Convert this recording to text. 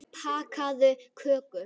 Bakaðu köku.